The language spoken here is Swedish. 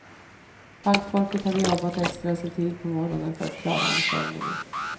Bankfolket hade jobbat extra sedan tidigt på morgonen för att klara anstormningen.